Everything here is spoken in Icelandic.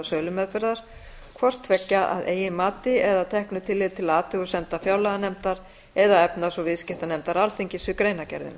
sölumeðferðar hvort tveggja að eigin mati eða að teknu tilliti til athugasemda fjárlaganefndar eða efnahags og viðskiptanefndar alþingis við greinargerðina